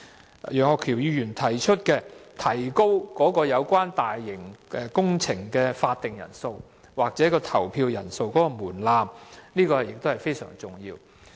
此外，楊岳橋議員建議提高通過大型工程的法定人數或投票人數的門檻，這亦是非常重要的。